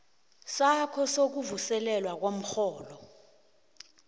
sakho sokuvuselelwa komrholo